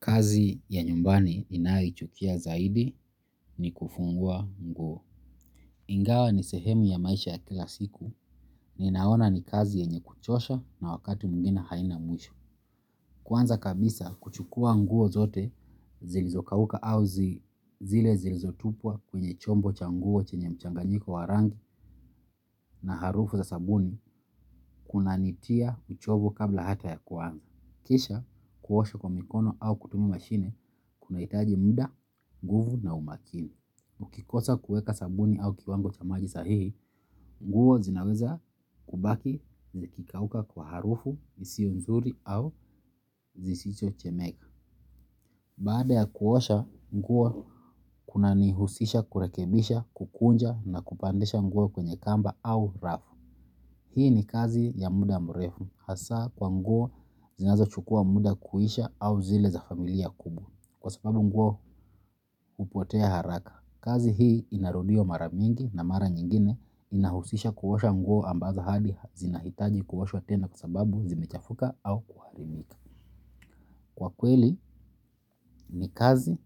Kazi ya nyumbani ninayoichukia zaidi ni kufua nguo. Ingawa ni sehemu ya maisha ya kila siku ninaona ni kazi yenye kuchosha na wakati mwingine haina mwisho. Kwanza kabisa kuchukua nguo zote zilizokauka au zile zilizotupwa kwenye chombo cha nguo chenye mchanganyiko wa rangi na harufu za sabuni kunanitia uchovu kabla hata ya kuanza. Kisha kuosha kwa mikono au kutumia mashini, kunahitaji muda, nguvu na umakini. Ukikosa kuweka sabuni au kiwango cha maji sahihi, nguo zinaweza kubaki zikikauka kwa harufu isio nzuri au zisichochemeka. Baada ya kuosha nguo kuna nihusisha kurekebisha, kukunja na kupandisha nguo kwenye kamba au rafu. Hii ni kazi ya muda mrefu hasa kwa nguo zinazochukua muda kuisha au zile za familia kubwa kwa sababu nguo hupotea haraka. Kazi hii inarudiwa mara mingi na mara nyingine inahusisha kuosha nguo ambazo hadi zinahitaji kuoshwa tena kwa sababu zimechafuka au kuharibika. Kwa kweli ni kazi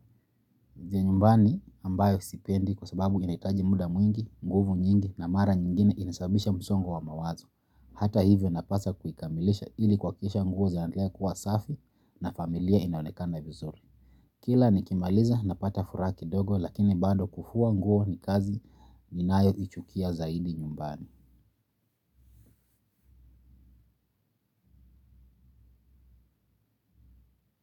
za nyumbani ambayo sipendi kwa sababu inahitaji muda mwingi, nguvu nyingi na mara nyingine inasababisha msongo wa mawazo. Hata hivyo napaswa kuikamilisha ili kuhakikisha nguo zinandelea kuwa safi na familia inaonekana vizuri. Kila nikimaliza napata furaha kidogo lakini bado kufua nguo ni kazi ninayoichukia zaidi nyumbani.